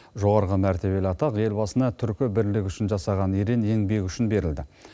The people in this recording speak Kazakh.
жоғарғы мәртебелі атақ елбасына түркі бірлігі үшін жасаған ерең еңбегі үшін берілді